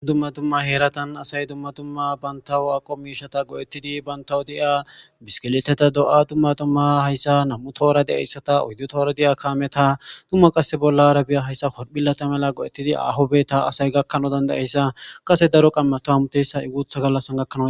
dumma dumma heeratan asay dumma tumma bantawu aqo miishata go'ettidi bantawu di'a bisikiliteta do'a dumma tumma hayssa nam'u toora de'eyssata uyddu toora diya kaameta dumma qasse bollarabiya hayssa oriphilata mela go'ettidi aho bitta asay gakkanayisa dandayeyssa qase daro qammata hamutiyissa guutha gallasan gakkanaw